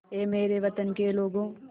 ऐ मेरे वतन के लोगों